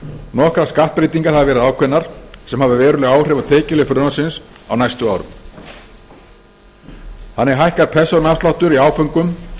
nokkrar skattabreytingar hafa verið ákveðnar sem hafa veruleg áhrif á tekjuhlið frumvarpsins á næstu árum þannig hækkar persónuafsláttur í áföngum